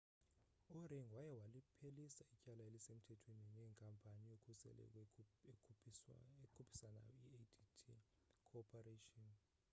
u-ring waye waliphelisa ityala elisemthethweni nenkampani yokhuseleko ekhuphisanayo i-adt corporation